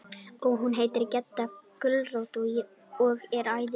Og hún heitir Gedda gulrót og er æði.